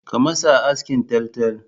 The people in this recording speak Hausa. Ka masa askin taltal!